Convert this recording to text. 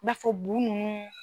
N'a fɔ blon kɔnɔ.